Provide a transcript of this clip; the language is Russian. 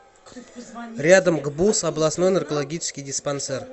рядом гбуз областной наркологический диспансер